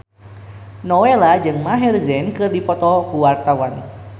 Nowela jeung Maher Zein keur dipoto ku wartawan